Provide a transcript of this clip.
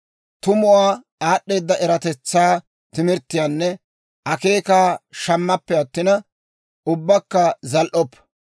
Tumuwaa, aad'd'eeda eratetsaa, timirttiyaanne akeekaa shammappe attina, ubbakka zal"oppa.